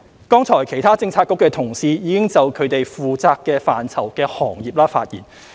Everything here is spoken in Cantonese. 剛才其他政策局的同事已就其負責範疇的行業發言。